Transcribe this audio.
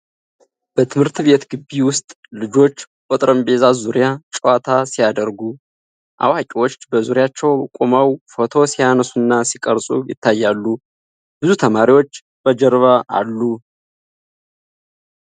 በትምህርት ቤት ግቢ ውስጥ ልጆች በጠረጴዛ ዙሪያ ጨዋታ ሲያደርጉ ። አዋቂዎች በዙሪያቸው ቆመው ፎቶ ሲያነሱና ሲቀርጹ ይታያሉ። ብዙ ተማሪዎች በጀርባ አሉ።